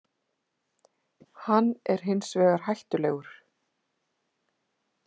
Hann er hinsvegar hættulegur.